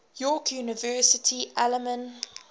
york university alumni